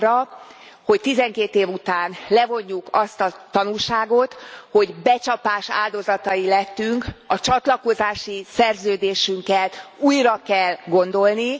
arra, hogy 12 év után levonjuk azt a tanulságot, hogy becsapás áldozatai lettünk, a csatlakozási szerződésünket újra kell gondolni.